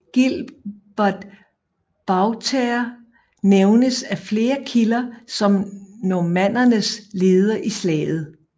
Gilbert Buatère nævnes af flere kilder som normannernes leder i slaget